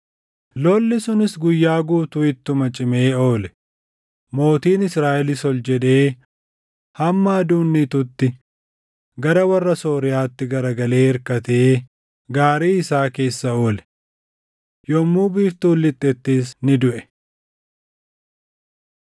Lolli sunis guyyaa guutuu ittuma cimee oole; mootiin Israaʼelis ol jedhee hamma aduun dhiitutti gara warra Sooriyaatti garagalee irkatee gaarii isaa keessa oole. Yommuu biiftuun lixxettis ni duʼe.